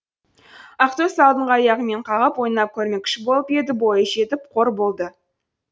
ақтөс алдыңғы аяғымен қағып ойнап көрмекші болып еді бойы жетпей қор болды